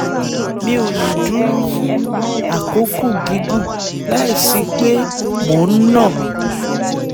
mi ò lè dúró fún àkókò gígùn láìsí pé mò ń nà á